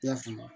I y'a faamu